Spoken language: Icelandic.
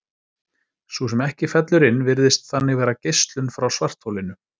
Sú sem ekki fellur inn virðist þannig vera geislun frá svartholinu.